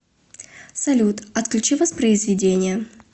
салют отключи воспроизведение